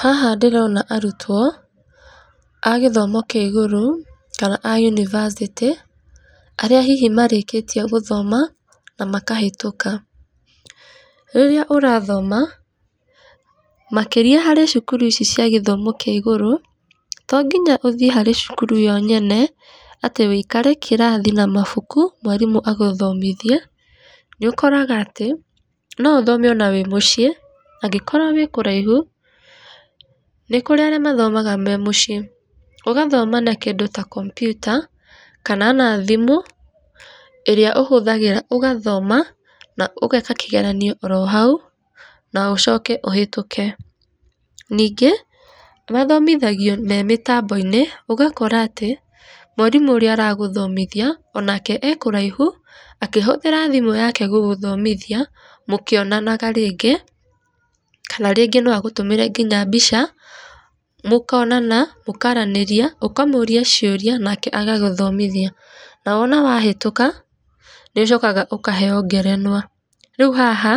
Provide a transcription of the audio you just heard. Haha ndĩrona arutwo a gĩthomo kĩa igũrũ kana a unibacĩtĩ, arĩa hihi marĩkĩtie gũthoma na makahĩtũka. Rĩrĩa ũrathoma makĩria harĩ cukuru ici cia gĩthomo kĩa igũrũ, to nginya ũthiĩ harĩ cukuru yo nyene atĩ ũikare kĩrathi na mabuku mwarimũ agũthomithie. Nĩ ũkoraga atĩ no ũthome ona wĩ mũciĩ angĩkorwo wĩ kũraihu, nĩ kũrĩ arĩa mathomaga me mũciĩ ũgathoma na kĩndũ ta kompiuta kana ona thimũ ĩrĩa ũhũthagĩra ũgathoma na ũgeeka kĩgeranio oro hau na ũcoke ũhĩtũke. Nĩngĩ mathomithagio me mĩtamboiinĩ ũgakora atĩ, mwarimũ ũrĩa ũragũthomithia onake e kũraihu akĩhũthĩra thimũ yake gũgũthomithoia mũkionanaga rĩngĩ kana rĩngĩ no agũtũmĩre nginya mbica mũkonana mũkaranĩria, ũkamũria ciũria nake agagũthomithia na wona wahĩtũka nĩ ũcokaga ũkaheo ngerenwa. Rĩu haha